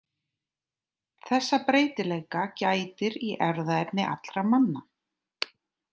Þessa breytileika gætir í erfðaefni allra manna.